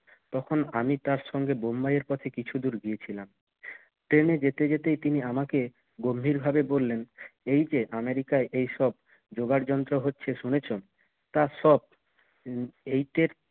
তখন আমি তার সঙ্গে বোম্বাইয়ের পথে কিছু দূর গিয়েছিলাম ট্রেনে যেতে যেতেই তিনি আমাকে গম্ভীরভাবে বললেন এই যে আমেরিকায় এসব যোগাড় যন্ত্র হচ্ছে শুনেছ তা সব এইটের